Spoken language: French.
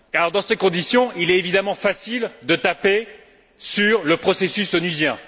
Dans ces conditions, il est évidemment facile de taper sur le processus onusien.